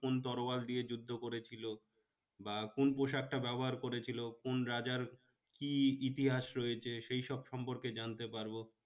কোন তরোয়াল দিয়ে যুদ্ধ করেছিল? বা কোন পোশাকটা ব্যবহার করেছিল? কোন রাজার কি ইতিহাস রয়েছে সেই সব সম্পর্কে জানতে পারবো।